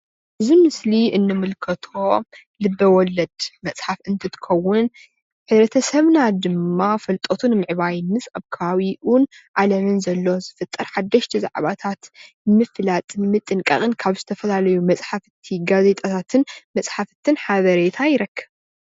እዚ ምስሊ እንምልከቶ ልበወለድ መፅሓፍ እንትኸውን ሕብረተሰብና ድማ ፍልጠቱ ንምዕባይ ምስ ኣከባቢኡን ዓለምን ዘሎ ዝፍጠር ሓደሽቲ ዛዕባታት ምፍላጥን ምጥንቃቅን ካብ ዝተፈላለዩ መፅሓፍትን ጋዜጣታትን ሓበሬታ ይረክብ።